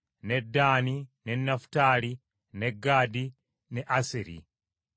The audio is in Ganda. ne Ddaani, ne Nafutaali, ne Gaadi, ne Aseri.